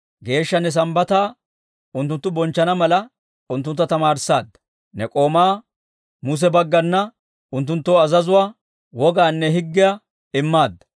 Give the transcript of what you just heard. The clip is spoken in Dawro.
Geeshsha ne Sambbataa unttunttu bonchchana mala, unttuntta tamaarissaadda. Ne k'oomaa Muse baggana unttunttoo azazuwaa, wogaanne higgiyaa immaadda.